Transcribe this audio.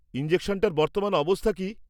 ইনজেকশনটার বর্তমান অবস্থা কী?